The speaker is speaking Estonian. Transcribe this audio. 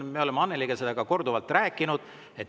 Me oleme Annelyga seda ka korduvalt rääkinud.